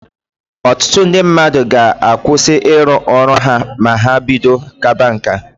Ọtụtụ ndị mmadụ ga-akwụsị irụ ọrụ ha ma ha bido kaba nka.